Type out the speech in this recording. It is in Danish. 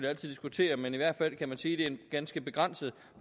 altid diskutere men i hvert fald kan man sige er en ganske begrænset